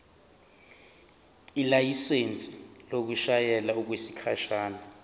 ilayisensi yokushayela okwesikhashana